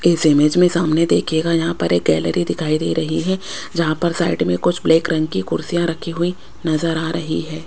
इस इमेज में सामने देखिएगा यहां पर एक गैलरी दिखाई दे रही है जहां पर साइड में कुछ ब्लैक रंग की कुर्सियां रखी हुई नजर आ रही है।